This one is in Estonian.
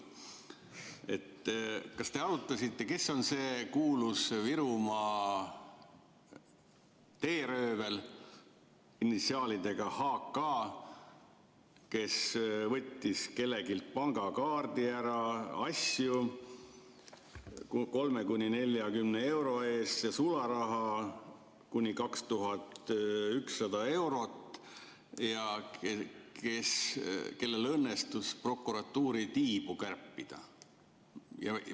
Kas te arutasite, kes on see kuulus Virumaa teeröövel initsiaalidega H. K., kes võttis kelleltki pangakaardi ära, asju 30–40 euro eest ja sularaha kuni 2100 eurot ja kellel õnnestus prokuratuuri tiibu kärpida?